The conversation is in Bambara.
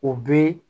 O bɛ